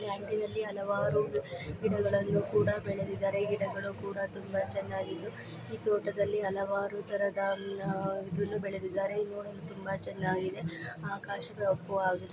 ಈ ಅಂಟಿನಲ್ಲಿ ಹಲವಾರು ಗಿಡಗಳನ್ನು ಕೂಡ ಬೆಳೆದಿದ್ದಾರೆ. ಈ ಗಿಡಗಳು ಕೂಡ ತುಂಬಾ ಚೆನ್ನಾಗಿದ್ದು ಈ ತೋಟದಲ್ಲಿ ಹಲವಾರು ತರದ ಆಮ್ ನಾ ಇದುನ್ನು ಬೆಳೆದಿದ್ದಾರೆ. ನೋಡಲು ತುಂಬಾ ಚನ್ನಾಗಿದೆ ಆಕಾಶ ಕಪ್ಪು ಆಗಿದೆ.